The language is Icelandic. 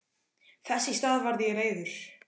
Þess í stað varð ég reiður.